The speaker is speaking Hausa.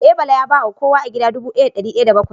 Eh, Bala ya ba ma kowa a gida dubu daya da dari daya da bakwai